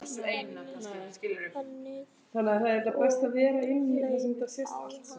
Hún þagnaði og leit á hann.